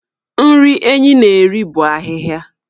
Nri Enyi na-eri bụ ahịhịa.